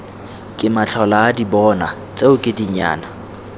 ke matlholaadibona tseno ke dinyana